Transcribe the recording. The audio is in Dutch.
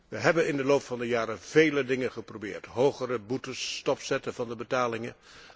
We hebben in de loop der jaren veel dingen geprobeerd hogere boetes, stopzetten van de betalingen.